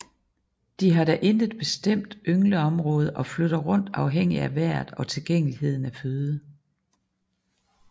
De har da intet bestemt yngleområde og flytter rundt afhængig af vejret og tilgængeligheden af føde